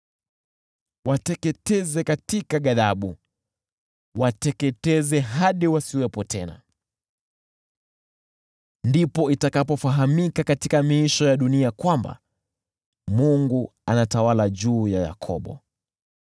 wateketeze katika ghadhabu, wateketeze hadi wasiwepo tena. Ndipo itakapofahamika katika miisho ya dunia kwamba Mungu anatawala juu ya Yakobo.